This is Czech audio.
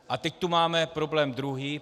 A teď tu máme problém druhý.